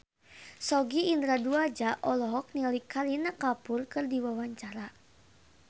Sogi Indra Duaja olohok ningali Kareena Kapoor keur diwawancara